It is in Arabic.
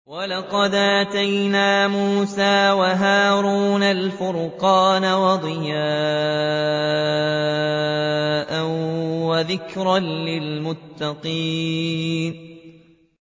وَلَقَدْ آتَيْنَا مُوسَىٰ وَهَارُونَ الْفُرْقَانَ وَضِيَاءً وَذِكْرًا لِّلْمُتَّقِينَ